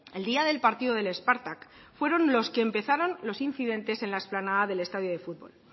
el día del partido del spartak fueron los que empezaron los incidentes en la explanada del estadio de fútbol